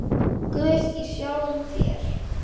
Guð í sjálfum þér.